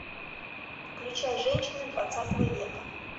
включай женщины двадцатого века